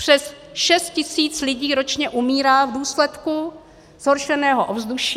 Přes šest tisíc lidí ročně umírá v důsledku zhoršeného ovzduší.